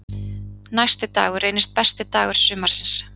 Næsti dagur reynist besti dagur sumarsins.